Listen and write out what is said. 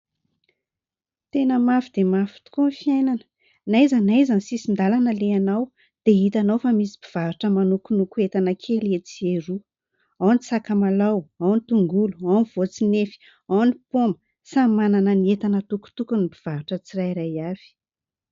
Tena mafy dia mafy tokoa ny fiainana, n'aiza n'aiza ny sisin-dalana alehanao dia hitanao fa misy mpivarotra manokonoko entana kely etsy sy eroa ao ny sakamalao ao ny tongolo ao ny voatsinefy ao any poma, samy manana ny entana atokotokony ny mpivarotra tsirairay avy.